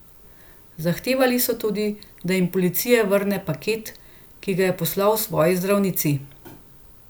Zahtevali so tudi, da jim policija vrne paket, ki ga je poslal svoji zdravnici.